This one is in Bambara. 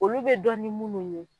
Olu bɛ dɔn ni minnu ye.